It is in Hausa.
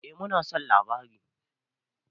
Eh mu na son labarin.